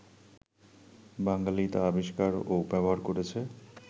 বাঙালি তা আবিষ্কার ও ব্যবহার করেছে